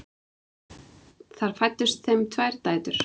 Þar fæddust þeim tvær dætur.